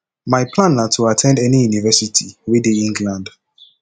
my plan na to at ten d any university wey dey england